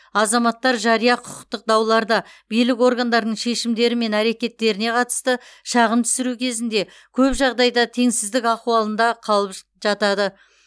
азаматтар жария құқықтық дауларда билік органдарының шешімдері мен әрекеттеріне қатысты шағым түсіру кезінде көп жағдайда теңсіздік ахуалында қалып жатады